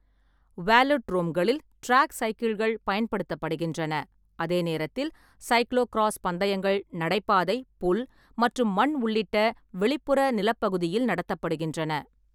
வேலோட்ரோம்களில் track சைக்கிள்கள் பயன்படுத்தப்படுகின்றன, அதே நேரத்தில் சைக்ளோ கிராஸ் பந்தயங்கள் நடைபாதை, புல் மற்றும் மண் உள்ளிட்ட வெளிப்புற நிலப்பகுதியில் நடத்தப்படுகின்றன.